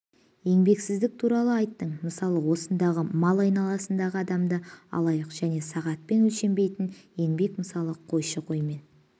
еңбексіздік туралы айттың мысалы осындағы мал айналасындағы адамдарды алайық және сағатпен өлшенбейтін еңбек мысалы қойшы қоймен